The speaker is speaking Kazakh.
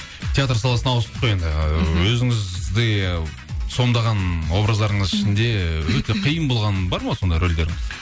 театр саласына ауыстық қой енді өзіңізде сомдаған образдарыңыз ішінде өте қиын болған бар ма сондай рольдеріңіз